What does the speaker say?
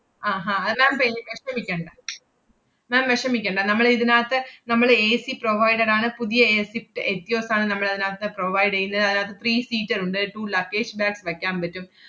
ആഹ് അഹ് അത് ma'am പേടി~ ~ഷമിക്കേണ്ട ma'am വെഷമിക്കേണ്ട. നമ്മള് ഇതിനാത്തെ നമ്മള് ACprovided ആണ് പുതിയ എ സ്വിഫ്റ്റ് എറ്റിയോസ് ആണ് നമ്മളതിനാത്ത് provide എയ്യുന്നത്. അതിനാത്ത് three seater ഉണ്ട്. two luggage bag വെക്കാൻ പറ്റും.